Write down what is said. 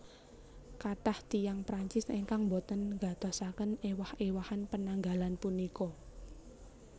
Kathah tiyang Prancis ingkang boten nggatosaken éwah éwahan penanggalan punika